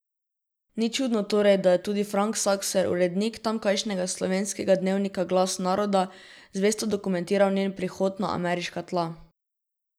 Ni čudno torej, da je tudi Frank Sakser, urednik tamkajšnjega slovenskega dnevnika Glas naroda, zvesto dokumentiral njen prihod na ameriška tla.